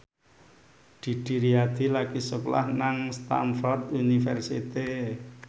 Didi Riyadi lagi sekolah nang Stamford University